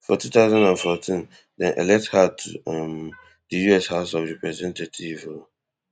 for two thousand and fourteen dem elect her to um di US house of representatives um